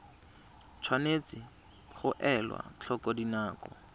tshwanetse ga elwa tlhoko dinako